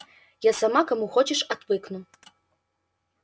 я сама кому хочешь отвыкну